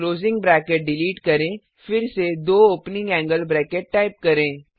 closing bracket delete करें फिर से दो ओपनिंग एंगल ब्रैकेट्स टाइप करें